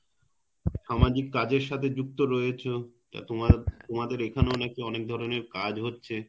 সামাজিক কাজের সাথে যুক্ত রয়েছো তো তোমাদের এখানেও নাকি অনেক ধরনের কাজ হচ্ছে